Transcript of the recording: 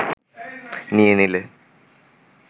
নিয়ে নিলে